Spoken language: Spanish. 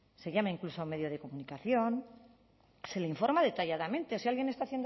se llama incluso a un medio de comunicación se le informa detalladamente si alguien está